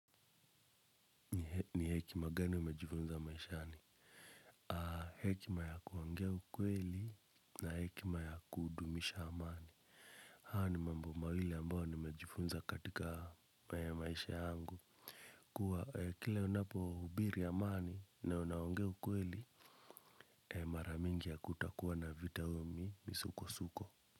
Ni hekima gani umejifunza maishani? Hekima ya kuongea ukweli na hekima ya kudumisha amani. Hayo ni mambo mawili ambayo nimejifunza katika maisha yangu. Kwa kila unapohubiri amani na unaongea ukweli, mara mingi hakutakuwa na vita au misukosuko.